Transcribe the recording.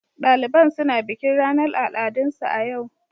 Daliban suna bikin ranar al'adunsu a yau.